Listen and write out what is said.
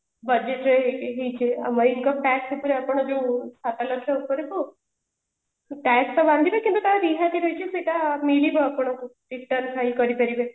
budget ରେ ଏଇକି ହେଇଛି income tax ସେଥିରେ ଏଥର ଯୋଉ ସାତ ଲକ୍ଷ୍ୟ ଉପରକୁ tax ଯୋଉ ବାନ୍ଧିବେ କିନ୍ତୁ ତାର ରିହାତି ରହିଛି ସେଇଟା ମିଳିବ ଆପଣଙ୍କୁ return file କରିପାରିବେ